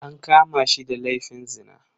An kama shi da laifin zina.